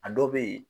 A dɔw bɛ yen